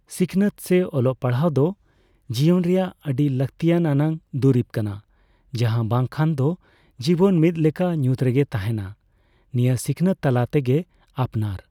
ᱥᱤᱠᱱᱟᱹᱛ ᱥᱮ ᱚᱞᱚᱜ ᱯᱟᱲᱦᱟᱣ ᱫᱚ ᱡᱤᱭᱚᱱ ᱨᱮᱱᱟᱜ ᱟᱹᱰᱤ ᱞᱟᱹᱠᱛᱤ ᱟᱱᱟᱜ ᱫᱩᱨᱤᱵᱽ ᱠᱟᱱᱟ ᱡᱟᱦᱟᱸ ᱵᱟᱝ ᱠᱷᱟᱱ ᱫᱚ ᱡᱤᱵᱚᱱ ᱢᱤᱫ ᱞᱮᱠᱟ ᱧᱩᱛ ᱨᱮᱜᱮ ᱛᱟᱦᱮᱸᱱᱟ ᱾ᱱᱤᱭᱟᱹ ᱥᱤᱠᱷᱱᱟᱹᱛ ᱛᱟᱞᱟ ᱛᱮᱜᱮ ᱟᱯᱱᱟᱨ